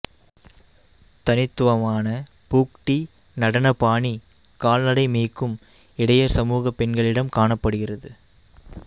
தனித்துவமான பூக்டி நடன பாணி கால்நடை மேய்க்கும் இடையர் சமூக பெண்களிடம் காணப்படுகிறது